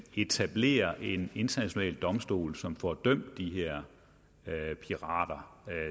etablere en international domstol som får dømt de her pirater